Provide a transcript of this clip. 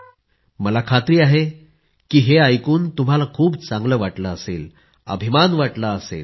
मला खात्री आहे की हे ऐकून तुम्हाला खूप चांगलं वाटलं असेल अभिमान वाटला असेल